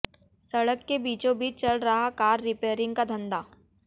सड़क के बीचों बीच चल रहा कार रिपेयरिंग का धंधा